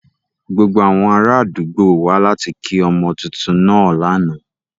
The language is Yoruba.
Gbogbo awọn araadugbo wa lati ki ọmọ tuntun naa lana.